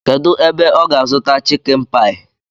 Kedụ ebe ọ ga-azụta chịkin paị?